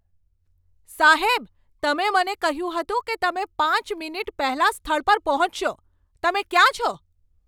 સાહેબ, તમે મને કહ્યું હતું કે તમે પાંચ મિનિટ પહેલાં સ્થળ પર પહોંચશો. તમે ક્યાં છો?